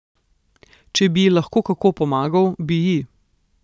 Če bi ji lahko kako pomagal, bi ji.